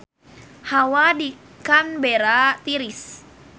Hawa di Canberra tiris